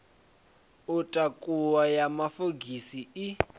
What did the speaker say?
u takuwa ya mafogisi i